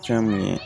Fɛn min ye